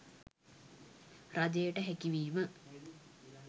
රජයට හැකි වීම